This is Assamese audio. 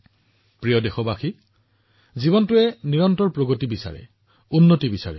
মৰমৰ দেশবাসীসকল জীৱনে নিৰন্তৰ প্ৰগতি বিকাশ উচ্চতা বিচাৰে